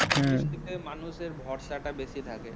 মানুষদের ভরসা টা বেশি থাকে